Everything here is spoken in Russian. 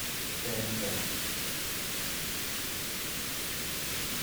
тнт